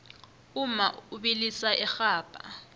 umma ubilisa irhabha